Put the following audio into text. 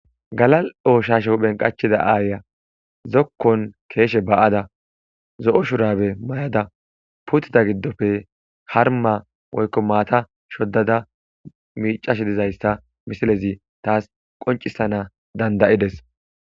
Gala'ooshasho phenqachida aaya zokkon keeshe ba'ada z'o shurabe may'ada putida giddofe harma moykko maata shoddada miicashe dizayssa misilezi taas qoncisana dandayides